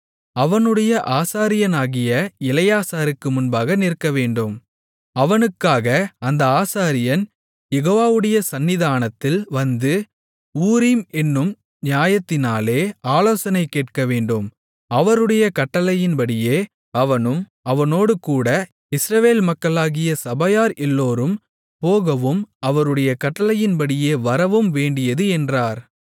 அவனுடைய ஆசாரியனாகிய எலெயாசாருக்கு முன்பாக நிற்கவேண்டும் அவனுக்காக அந்த ஆசாரியன் யெகோவாவுடைய சந்நிதானத்தில் வந்து ஊரீம் என்னும் நியாயத்தினாலே ஆலோசனை கேட்கவேண்டும் அவருடைய கட்டளையின்படியே அவனும் அவனோடுகூட இஸ்ரவேல் மக்களாகிய சபையார் எல்லோரும் போகவும் அவருடைய கட்டளையின்படியே வரவும் வேண்டியது என்றார்